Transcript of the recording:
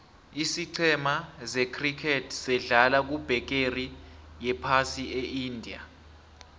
isicema se criket sedlala kubegeri yephasi eindia